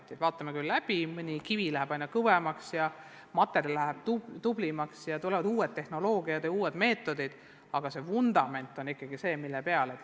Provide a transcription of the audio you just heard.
Me küll vaatame seda läbi, mõne kivi muudame kõvemaks ja sidematerjali paremaks, tulevad uued tehnoloogiad ja uued meetodid, aga vundament, mille peale toetuda, on ikkagi suures osas sama.